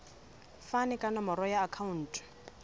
fane ka nomoro ya akhauntu